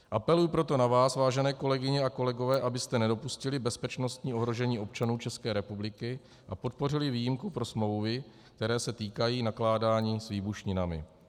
Apeluji proto na vás, vážené kolegyně a kolegové, abyste nedopustili bezpečnostní ohrožení občanů České republiky a podpořili výjimku pro smlouvy, které se týkají nakládání s výbušninami.